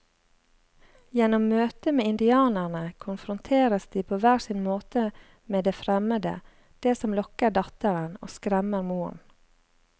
Gjennom møtet med indianerne konfronteres de på hver sin måte med det fremmede, det som lokker datteren og skremmer moren.